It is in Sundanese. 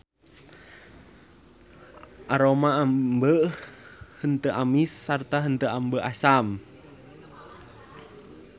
Aroma ambeu henteu amis sarta henteu ambeu asam.